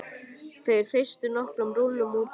Þeir þeystu nokkrum rúllum útí móa.